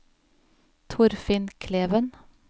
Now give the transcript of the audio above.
Torfinn Kleven